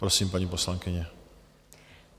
Prosím, paní poslankyně.